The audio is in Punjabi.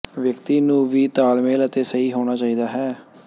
ਵਿਅਕਤੀ ਨੂੰ ਵੀ ਤਾਲਮੇਲ ਅਤੇ ਸਹੀ ਹੋਣਾ ਚਾਹੀਦਾ ਹੈ